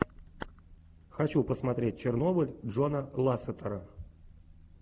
хочу посмотреть чернобыль джона лассетера